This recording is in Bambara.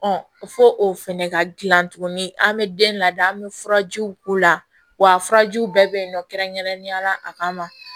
fɔ o fɛnɛ ka gilan tuguni an bɛ den ladiya an be furajiw k'u la wa furajiw bɛɛ be yen nɔ kɛrɛnkɛrɛnnenya la a kama